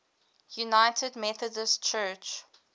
united methodist church